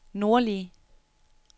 nordlige